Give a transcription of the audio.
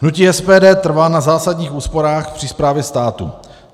Hnutí SPD trvá na zásadních úsporách při správě státu.